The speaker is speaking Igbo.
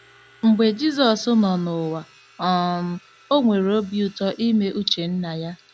Mgbe Jizọs nọ n’ụwa, um o nwere obi ụtọ ime uche Nna ya.